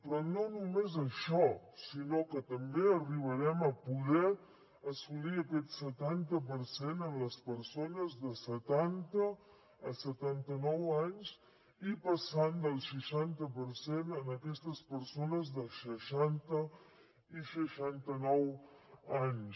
però no només això sinó que també arribarem a poder assolir aquest setanta per cent en les persones de setanta a setanta nou anys i passant del seixanta per cent en aquestes persones de seixanta a seixanta nou anys